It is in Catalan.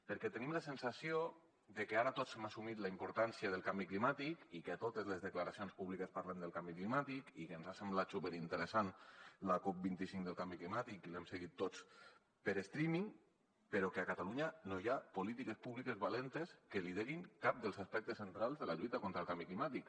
perquè tenim la sensació de que ara tots hem assumit la importància del canvi climàtic i que a totes les declaracions públiques parlen del canvi climàtic i que ens ha semblat superinteressant la cop25 del canvi climàtic i l’hem seguit tots per streaming però que a catalunya no hi ha polítiques públiques valentes que liderin cap dels aspectes centrals de la lluita contra el canvi climàtic